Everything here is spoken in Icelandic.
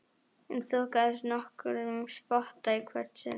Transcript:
Hann þokaðist nokkurn spotta í hvert sinn.